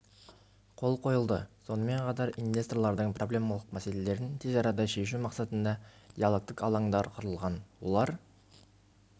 қол қойылды сонымен қатар инвесторлардың проблемалық мәселелерін тез арада шешу мақсатында диалогтік алаңдар құрылған олар